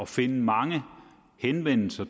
finde mange henvendelser